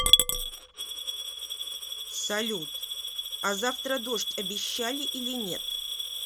салют а завтра дождь обещали или нет